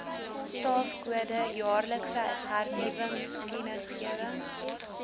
staafkode jaarlikse hernuwingskennisgewings